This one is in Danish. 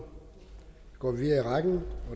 mig